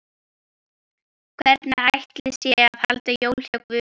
Hvernig ætli sé að halda jól hjá Guði?